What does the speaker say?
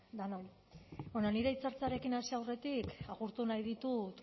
denoi nire hitzaldiarekin hasi aurretik agurtu nahi ditut